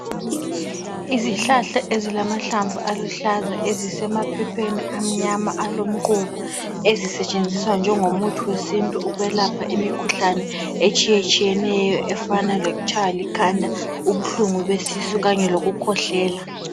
Izihlahla ezilamahlamvu aluhlaza ezisemaphephemi amnyama alomquba ezisetshenziswa njengomuthi wesintu ukwelapha imikhuhlane etshiyetshiyeneyo efana lokutshaywa likhanda, ubuhlungu besisu kanye lokukhwehlela.